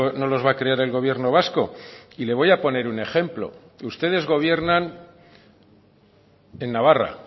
no los va a crear el gobierno vasco y le voy a poner un ejemplo ustedes gobiernan en navarra